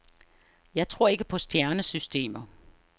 Jeg tror ikke på stjernesystemer.